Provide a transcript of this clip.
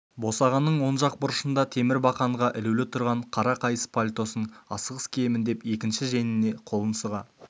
босағаның оң жақ бұрышында темір бақанға ілулі тұрған қара қайыс пальтосын асығыс киемін деп екінші жеңіне қолын сұға